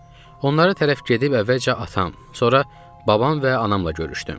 Onlara tərəf gedib əvvəlcə atam, sonra babam və anamla görüşdüm.